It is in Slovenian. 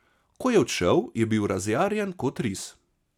Ko je odšel, je bil razjarjen kot ris.